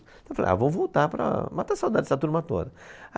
Então falei, ah, vou voltar para matar a saudade dessa turma toda.